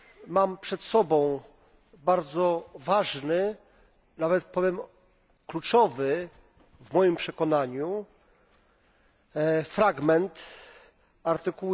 Mam przed sobą bardzo ważny, nawet powiem kluczowy w moim przekonaniu fragment art.